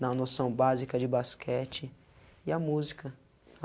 dar noção básica de basquete e a música.